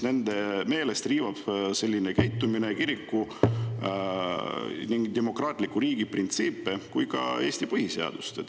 Nende meelest riivab selline käitumine nii kiriku ja demokraatliku riigi printsiipe kui ka Eesti põhiseadust.